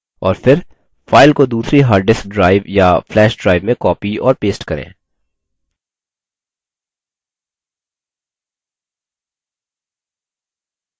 और फिर file को दूसरी hard disk drive या flash drive में copy और paste करें